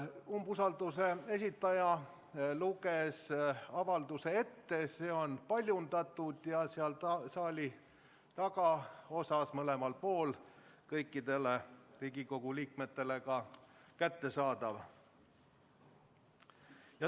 Umbusalduse esitaja loeb avalduse ette, see on paljundatud ja seal saali tagaosas mõlemal pool kõikidele Riigikogu liikmetele ka kättesaadav.